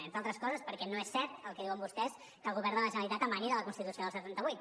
bé entre altres coses perquè no és cert el que diuen vostès que el govern de la generalitat emani de la constitució del setanta vuit